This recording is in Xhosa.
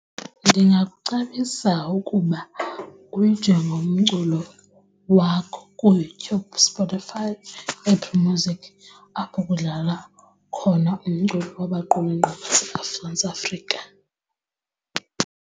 Ndingakucebisa ukuba uyijonge umculo wakho kuYouTube, Spotify, Apple Music apho kudlalwa khona umculo wabaqulunqi Mzantsi Afrika.